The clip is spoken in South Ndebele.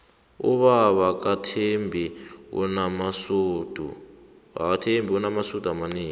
ubaba kathembi unamasudu amanengi